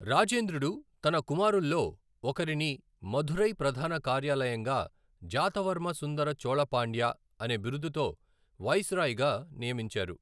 రాజేంద్రుడు తన కుమారుల్లో ఒకరిని మధురై ప్రధాన కార్యాలయంగా జాతవర్మ సుందర చోళ పాండ్య అనే బిరుదుతో వైస్రాయ్గా నియమించారు.